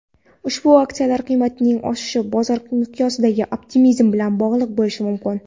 ushbu aksiyalar qiymatining o‘sishi bozor miqyosidagi optimizm bilan bog‘liq bo‘lishi mumkin.